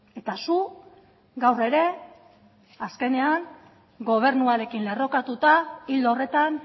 eta zu gaur ere azkenean gobernuarekin lerrokatuta ildo horretan